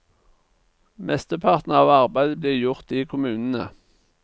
Mesteparten av arbeidet blir gjort i kommunene.